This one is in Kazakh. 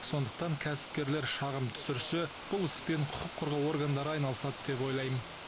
сондықтан кәсіпкерлер шағым түсірсе бұл іспен құқық қорғау органдары айналысады деп ойлаймын